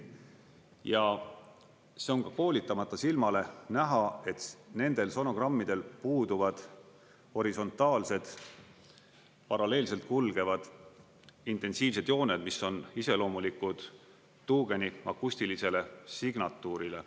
Ja see on ka koolitamata silmale näha, et nendel sonogrammidel puuduvad horisontaalsed, paralleelselt kulgevad intensiivsed jooned, mis on iseloomulikud tuugeni akustilisele signatuurile.